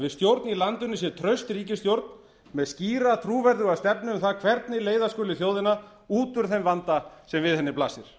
við stjórn í landinu sé traust ríkisstjórn með skýra trúverðuga stefnu um það hvernig leiða skuli þjóðina út úr þeim vanda sem við henni blasir